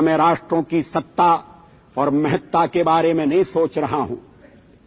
યહાં મૈં રાષ્ટ્રોં કી સત્તા ઔર મહત્તા કે બારે મેં નહીં સોચ રહા હૂં